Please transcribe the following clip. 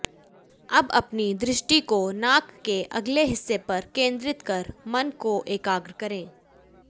अब अपनी दृष्टि को नाक के अगले हिस्से पर केंद्रित कर मन को एकाग्र करें